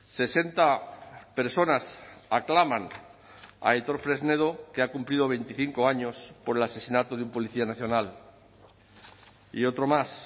sesenta personas aclaman a aitor fresnedo que ha cumplido veinticinco años por el asesinato de un policía nacional y otro más